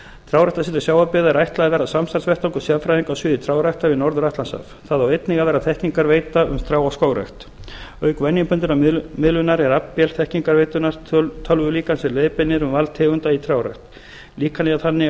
trjáræktarsetri sjávarbyggða er ætlað að verða samstarfsvettvangur sérfræðinga á sviði trjáræktar við norður atlantshaf það á einnig að verða þekkingarveita um trjá og skógrækt auk venjubundinnar miðlunar er aflvél þekkingarveitunnar tölvulíkan sem leiðbeinir um val tegunda í trjárækt líkanið er þannig að